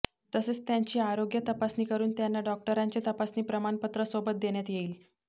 तसेच त्यांची आरोग्य तपासणी करून त्यांना डॉक्टरांचे तपासणी प्रमाणपत्र सोबत देण्यात येईल